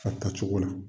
A tacogo la